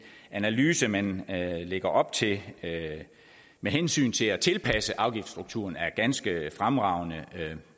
analyse man lægger op til med hensyn til at tilpasse afgiftsstrukturen er ganske fremragende